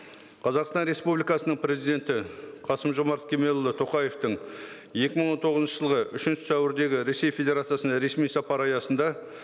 қазақстан республикасының президенті қасым жомарт кемелұлы тоқаевтың екі мың он тоғызыншы жылғы үшінші сәуірдегі ресей федерациясының ресми сапары аясында